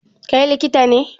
Kai likita ne?